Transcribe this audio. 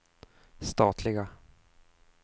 statliga